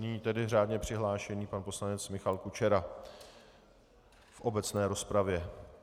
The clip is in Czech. Nyní tedy řádně přihlášený pan poslanec Michal Kučera v obecné rozpravě.